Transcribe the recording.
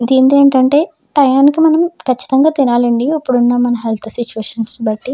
దేంతో ఏమిటంటే టయానికి మనం కచ్చితంగా తినాలి అండి ఎక్కడున్నా మన హెల్త్ సిట్యుయేషన్ బట్టి.